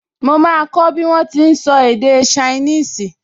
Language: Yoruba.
Mo máa kọ́ bí wọ́n ti n sọ èdè ṣainíìsì